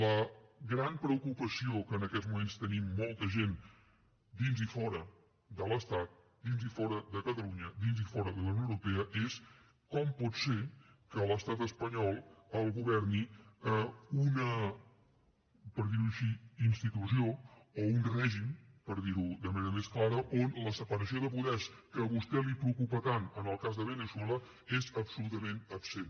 la gran preocupació que en aquests moments tenim molta gent dins i fora de l’estat dins i fora de catalunya dins i fora de la unió europea és com pot ser que l’estat espanyol el governi una per dir ho així institució o un règim per dir ho de manera més clara on la separació de poders que a vostè el preocupa tant en el cas de veneçuela és absolutament absent